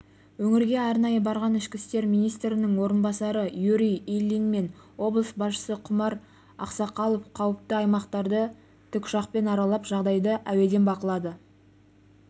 өңірге арнайы барған ішкі істер министрінің орынбасары юрий ильин мен облыс басшысы құмар ақсақалов қауіпті аймақтарды тікұшақпен аралап жағдайды әуеден бақылады